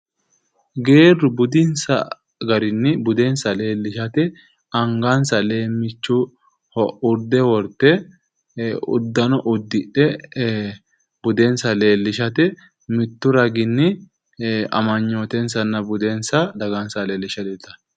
Geeru budinsa garinni budensa leelishate angansa leemichoho urde worte udanno udidhe budensa leelishate mitu raginni amanyootensanna budensa dagansaha leelishe leeltano.